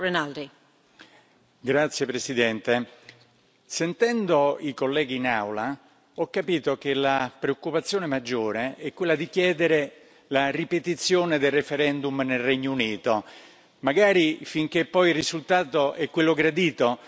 Signora Presidente, onorevoli colleghi, sentendo i colleghi in Aula ho capito che la preoccupazione maggiore è quella di chiedere la ripetizione del referendum nel Regno Unito, magari finché il risultato è quello gradito.